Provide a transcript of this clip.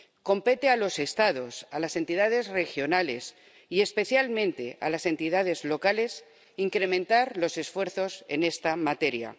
Compete a los Estados, a las entidades regionales, y especialmente a las entidades locales, incrementar los esfuerzos en esta materia.